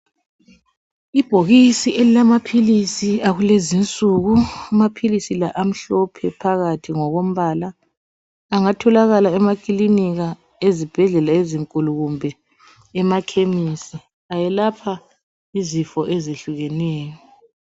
Ibhokisi elilamaphilisi akulezi insuku amaphilisi lawa amhlophe phakathi ngokombala. Angatholakala emakilinki, ezibhedlela ezinkulu kumbe emakhemisi ayelapha izifo ezehlukeneyo.